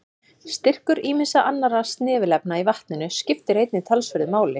Styrkur ýmissa annarra snefilefna í vatninu skiptir einnig talsverðu máli.